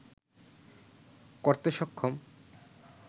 করতে সক্ষম